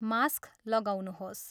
Mask लगाउनुहोस्।